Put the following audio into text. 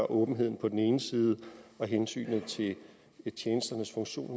åbenheden på den ene side og hensynet til tjenesternes funktion